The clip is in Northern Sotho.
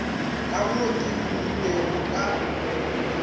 ka mo ke humilego ka